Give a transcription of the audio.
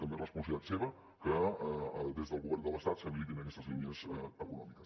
també és responsabilitat seva que des del govern de l’estat s’habilitin aquestes línies econòmiques